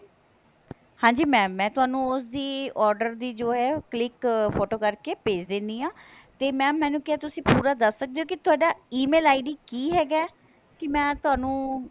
ਹਾਂਜੀ mam ਮੈਂ ਤੁਹਾਨੂੰ ਉਸ ਦੀ order ਦੀ ਜੋ ਹੈ click ਫ਼ੋਟੋ ਕਰਕੇ ਭੇਜ ਦਿੰਨੀ ਹਾਂ ਤੇ mam ਮੈਨੂੰ ਕਿਹਾ ਤੁਸੀਂ ਪੂਰਾ ਦੱਸ ਸਕਦੇ ਹੋ ਕੀ ਤੁਹਾਡਾ Email ID ਕੀ ਹੈਗਾ ਕੀ ਮੈਂ ਤੁਹਾਨੂੰ